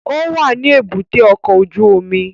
Ó wà ní èbúté ọkọ̀ ojú omi